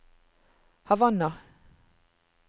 Havanna